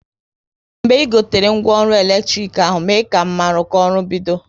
Mgbe ị gotere ngwa ọrụ eletrik ahụ, mee ka m maru ka ọrụ bido